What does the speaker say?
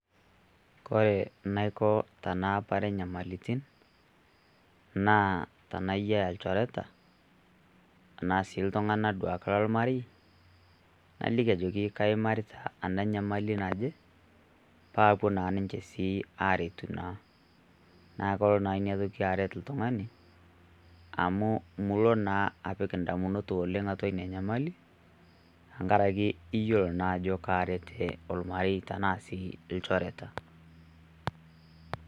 Kore naiko tanaapare nyamalitin naa tanayia ilchoreta tana sii iltung'ana duake le marieyi naliki ajoki kaimarita ana nyamali naje pa apoo naa ninche sii aretuu naa. Naa koloo naa enia ntoki areet ltung'ani amu muuo naa apiik ndamunot oleng atua enia nyamali tang'araki eiyelo naa ajo areet olmarieyi tana sii ilchoreta.